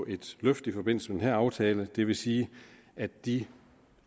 et løft i forbindelse med den her aftale det vil sige at de